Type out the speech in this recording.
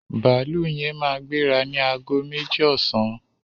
Bàálù yẹn máa gbéra ni aago méjì ọsàn